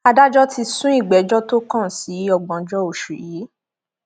adájọ ti sún ìgbẹjọ tó kàn sí ògbóǹjọ oṣù yìí